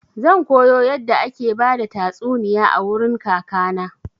Zan koyo yadda ake bada tastuniya a wurin kaka na.